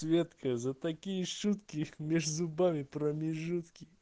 светка за такие шутки меж зубами промежутки